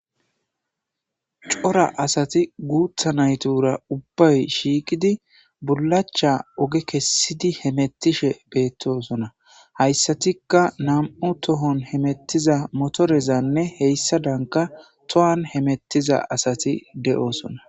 Cora asati guutha naytura ubbay shiiqidi bulacha oge kessidi hemettishe beettosona hayssatikka nam7u tohon hemettiza motorezanne heyssa danka tohan hemettiza asati de7oosona